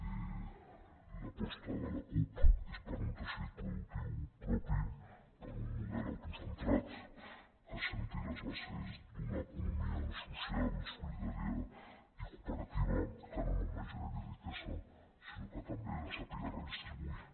l’aposta de la cup és per un teixit productiu propi per un model autocentrat que assenti les bases d’una economia social solidària i cooperativa que no només generi riquesa sinó que també la sàpiga redistribuir